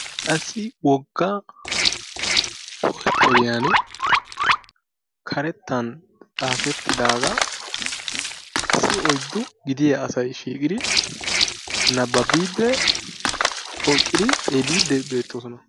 qassi wogga posteriyan karettan xaafetidaaga issi oyddu gidiyaaasay shiiqidi naababbide hokkidi xeelide beettoosona.